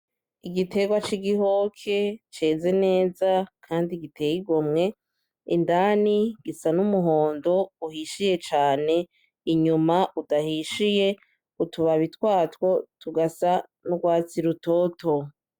Igiterwa c'igihoke ceze neza kandi giteye igomwe indani gisa n'umuhondo uhishiye cane inyuma udahishiye utubabi twato tugasa n'urwatsi rutoto.